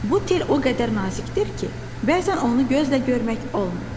Bu tel o qədər nazikdir ki, bəzən onu gözlə görmək olmur.